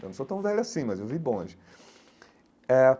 Eu não sou tão velho assim, mas eu vi bonde eh.